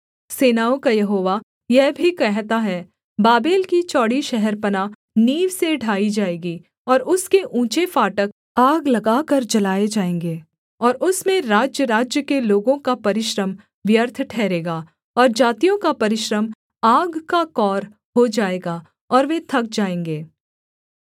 सेनाओं का यहोवा यह भी कहता है बाबेल की चौड़ी शहरपनाह नींव से ढाई जाएगी और उसके ऊँचे फाटक आग लगाकर जलाए जाएँगे और उसमें राज्यराज्य के लोगों का परिश्रम व्यर्थ ठहरेगा और जातियों का परिश्रम आग का कौर हो जाएगा और वे थक जाएँगे